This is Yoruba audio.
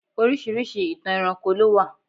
Orisirisi ìtàn ẹranko lo wa.